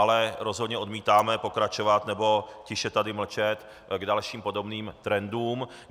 Ale rozhodně odmítáme pokračovat nebo tiše tady mlčet k dalším podobným trendům.